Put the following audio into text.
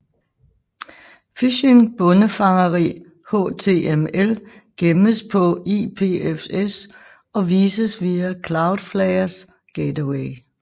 Phishing bondefangeri HTML gemmes på IPFS og vises via Cloudflares gateway